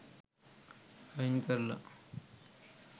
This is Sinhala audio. අයින් කරල.